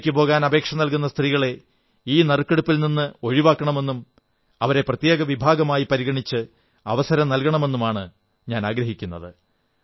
ഒറ്റയ്ക്ക് പോകാൻ അപേക്ഷ നല്കുന്ന സ്ത്രീകളെ ഈ നറുക്കെടുപ്പിൽ നിന്ന് ഒഴിവാക്കണമെന്നും അവരെ പ്രത്യേകവിഭാഗമായി പരിഗണിച്ച് അവസരം നല്കണമെന്നുമാണ് ഞാനാഗ്രഹിക്കുന്നത്